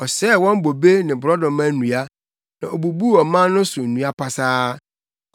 Ɔsɛee wɔn bobe ne borɔdɔma nnua na obubuu ɔman no so nnua pasaa.